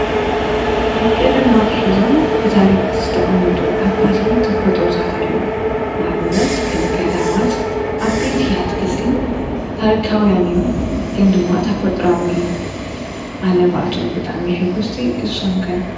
ካብ ቀደም ኣትሒዞም ብታሪክ ዝተቀመጡ ዓበይቲ ተፈጥሮታት ኣለዉ። ንኣብነት ከም ገዳማት ዓበይቲ ኣትክልቲ ታሪካዉያን እዮም ግን ድማ ተፈጥሮአዊ እዮም አነ ብኣቶም ብጣዕሚ እየ ሕጉስቲ ንስኹም ከ?